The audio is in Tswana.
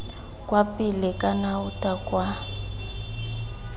kwa pele kana aotha kwa